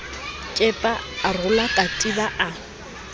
kepa a rola katiba a